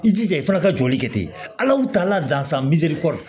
I jija i fana ka jɔli kɛ ten ala tala dansa kɔ